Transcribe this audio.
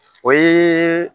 O ye